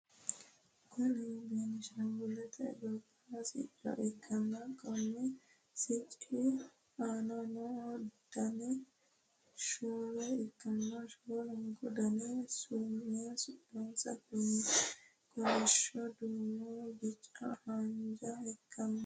Kuni benshangulette gobba sicco ikkanna Konni sicci aana noohu Dani shoole ikkanna shoolunkku Dani suminsano kolishsho duumo biccanna haanjjaho ikkanno